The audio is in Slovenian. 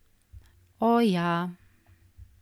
O, ja ...